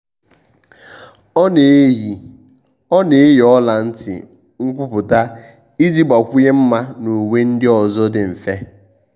ọ́ nà-eyì ọ́ nà-eyì ọla ntị nkwùpụ́tà iji gbàkwụnye mma na uwe ndị ọzọ dị mfe.